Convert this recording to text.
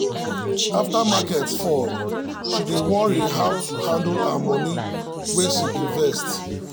after market fall she dey worry how to handle her money wey she invest.